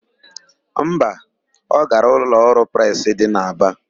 Mba, ọ gara ụlọọrụ presị dị n'Aba.